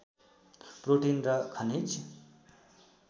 protein र खनिज